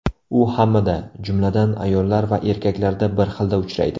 U hammada, jumladan, ayollar va erkaklarda bir xilda uchraydi.